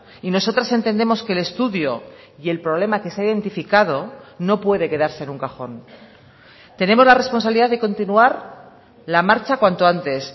y nosotras entendemos que el estudio y el problema que se ha identificado no puede quedarse en un cajón tenemos la responsabilidad de continuar la marcha cuanto antes